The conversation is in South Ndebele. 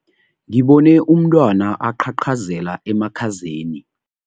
Ngibone umntwana aqhaqhazela emakhazeni.